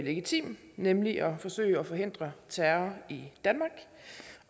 legitim nemlig at forsøge at forhindre terror i danmark